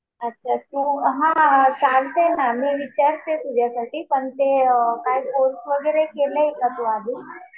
अच्छा तू हा चालतंय ना. मी विचारते तुझ्यासाठी. पण ते काय कोर्स वगैरे केलाय का तू आधी.